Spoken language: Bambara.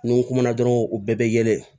Ni n kumana dɔrɔn u bɛɛ bɛ yɛlɛ